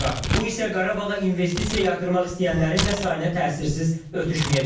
Bu isə Qarabağa investisiya yatırmaq istəyənlərin də sayına təsirsiz ötüşməyəcək.